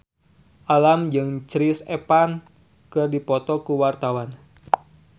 Alam jeung Chris Evans keur dipoto ku wartawan